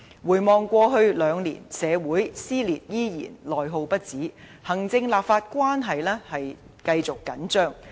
回望過去兩年，社會撕裂依然，內耗不止，行政立法關係繼續緊張。